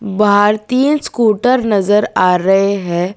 बाहर तीन स्कूटर नजर आ रहे है।